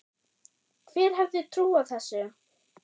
Hver hefði trúað þessu?